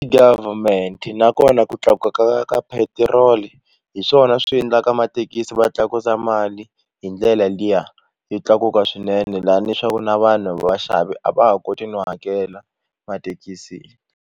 Government nakona ku tlakuka ka petrol hi swona swi endlaka mathekisi va tlakusa mali hi ndlela liya yo tlakuka swinene lani swaku na vanhu vaxavi a va ha koti no hakela mathekisini.